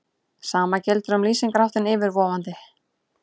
Sama gildir um lýsingarháttinn yfirvofandi.